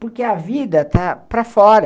Porque a vida está para fora.